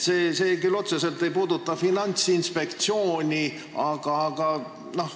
See ei puuduta küll otseselt Finantsinspektsiooni, aga siiski.